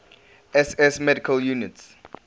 ss medical units